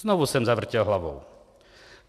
Znovu jsem zavrtěl hlavou.